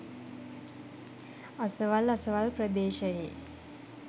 අසවල් අසවල් ප්‍රදේශයේ